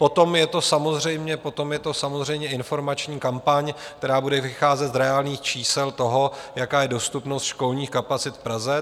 Potom je to samozřejmě informační kampaň, která bude vycházet z reálných čísel toho, jaká je dostupnost školních kapacit v Praze.